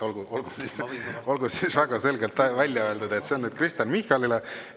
Olgu väga selgelt välja öeldud, et see on nüüd Kristen Michalile.